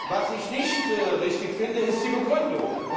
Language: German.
Was ist nicht richtig finde, ist die Begründung.